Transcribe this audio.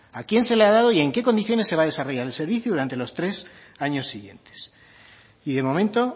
a quién se lo ha dado y en qué condiciones se va a desarrollar el servicio durante los tres años siguientes y de momento